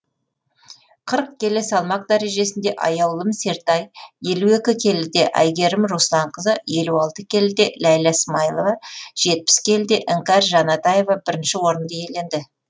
қырық келі салмақ дәрежесінде аяулым сертай елу екі келіде әйгерім русланқызы елу алты келіде ләйлә смаилова жетпіс келіде іңкәр жанатаева бірінші орынды иеленді